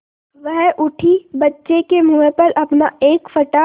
वह उठी बच्चे के मुँह पर अपना एक फटा